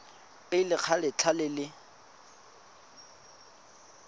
pele ga letlha le le